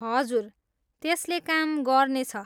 हजुर, त्यसले काम गर्नेछ।